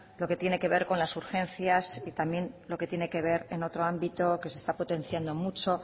lo que tiene que ver con las urgencias y también lo que tiene que ver en otro ámbito que se está potenciando mucho